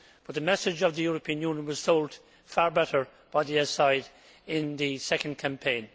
But the message of the European Union was sold far better by the yes' side in the second campaign.